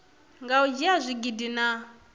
nga u dzhia zwigidi na